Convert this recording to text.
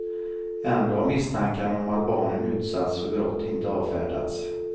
Ändå har misstankarna om att barnen utsatts för brott inte avfärdats.